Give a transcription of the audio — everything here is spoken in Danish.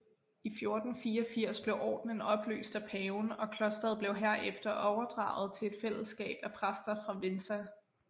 I 1484 blev ordenen opløst af paven og klosteret blev herefter overdraget til et fællesskab af præster fra Vinça